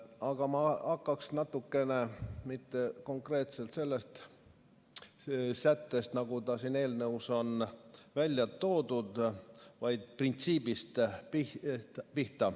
Aga ma hakkaksin pihta mitte konkreetselt sellest sättest, mis siin eelnõus on välja toodud, vaid printsiibist.